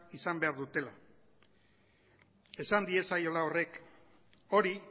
izan behar dutela esan diezaiola horrek hori